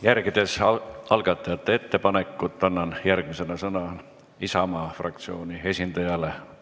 Järgides algatajate ettepanekut, annan järgmisena sõna Isamaa fraktsiooni esindajale.